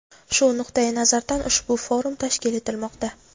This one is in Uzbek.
Shu nuqtayi nazardan ushbu forum tashkil etilmoqda.